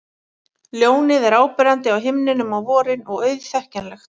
Ljónið er áberandi á himninum á vorin og auðþekkjanlegt.